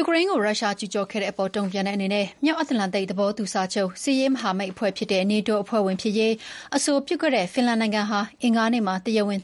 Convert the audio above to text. ူကရိန်းကို ရုရှားကျူးကျော်ခဲ့တာအပေါ်တုံ့ပြန်တဲ့အနေနဲ့ မြောက်အတ္တလန်တိတ် သဘောတူစာချုပ် စစ်ရေးမဟာမိတ်အဖွဲ့ဖြစ်တဲ့ (NATO) အဖွဲ့ဝင် ဖြစ်ရေး အဆိုပြုခဲ့တဲ့ဖင်လန်နိုင်ငံဟာ လာမယ့်အင်္ဂါနေ့မှာ ၃၁ နို